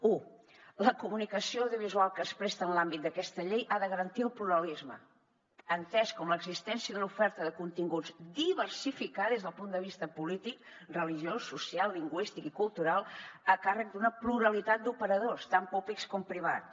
un la comunicació audiovisual que es presta en l’àmbit d’aquesta llei ha de garantir el pluralisme entès com l’existència d’una oferta de continguts diversificada des del punt de vista polític religiós social lingüístic i cultural a càrrec d’una pluralitat d’operadors tant públics com privats